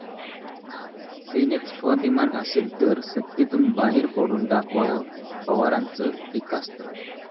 सेनेत स्वाभिमान असेल तर सत्तेतून बाहेर पडून दाखवावं, पवारांचं टीकास्त्र